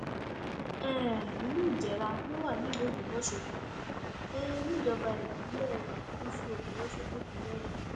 um ìlú ìjẹrà ló wà nílùú ògbómọṣọ um níjọba ìbílẹ gúúsù ògbómọṣọ nípínlẹ ọyọ